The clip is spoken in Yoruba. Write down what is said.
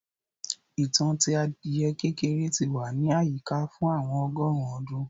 ìtàn tí adiẹ kékeré tí wà ní àyíká fún àwọn ọgọrùn ọdún